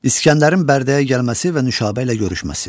İsgəndərin Bərdəyə gəlməsi və Nüşabə ilə görüşməsi.